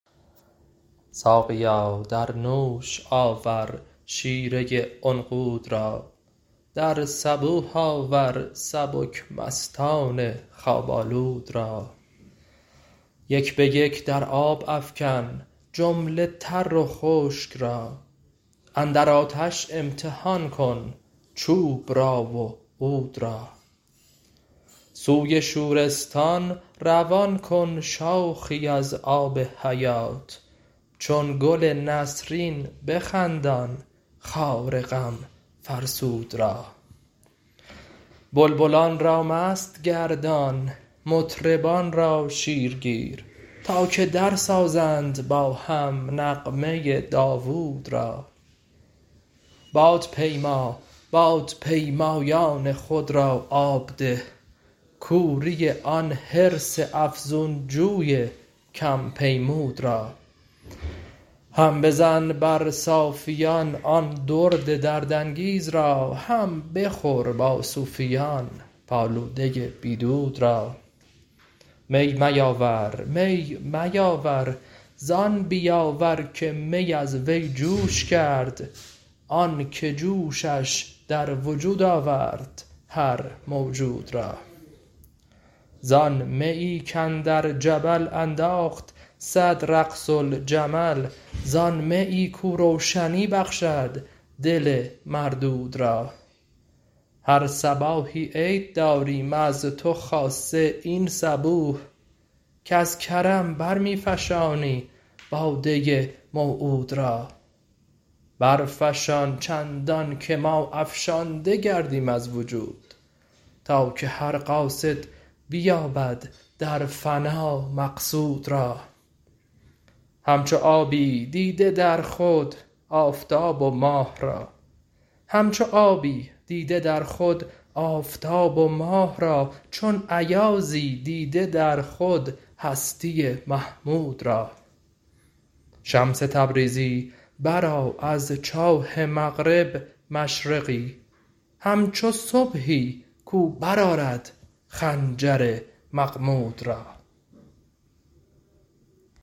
ساقیا در نوش آور شیره عنقود را در صبوح آور سبک مستان خواب آلود را یک به یک در آب افکن جمله تر و خشک را اندر آتش امتحان کن چوب را و عود را سوی شورستان روان کن شاخی از آب حیات چون گل نسرین بخندان خار غم فرسود را بلبلان را مست گردان مطربان را شیرگیر تا که درسازند با هم نغمه داوود را بادپیما بادپیمایان خود را آب ده کوری آن حرص افزون جوی کم پیمود را هم بزن بر صافیان آن درد دردانگیز را هم بخور با صوفیان پالوده بی دود را می میاور زان بیاور که می از وی جوش کرد آنک جوشش در وجود آورد هر موجود را زان میی کاندر جبل انداخت صد رقص الجمل زان میی کاو روشنی بخشد دل مردود را هر صباحی عید داریم از تو خاصه این صبوح که ز کرم بر می فشانی باده موعود را برفشان چندانکه ما افشانده گردیم از وجود تا که هر قاصد بیابد در فنا مقصود را همچو آبی دیده در خود آفتاب و ماه را چون ایازی دیده در خود هستی محمود را شمس تبریزی برآر از چاه مغرب مشرقی همچو صبحی کاو برآرد خنجر مغمود را